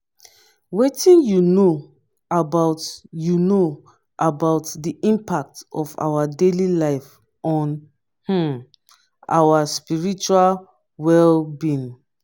wetin you know about you know about di impact of daily life on um our spiritual well-being?